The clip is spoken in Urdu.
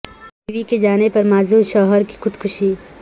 بیوی کے جانے پر معذور شوہر کی خود کشی